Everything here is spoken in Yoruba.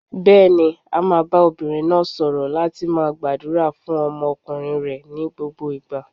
Bẹ́ẹ̀ni, a máa bá obìnrin náà sọ̀rọ̀ láti máa gbàdúrà fún ọmọkùnrin rẹ̀ ní gbogbo ìgbà.